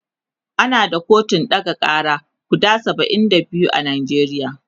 ana da kotun ɗaga Kara guda saba'in da biyu a Najeriya